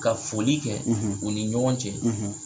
Ka foli kɛ u ni ɲɔgɔn cɛ.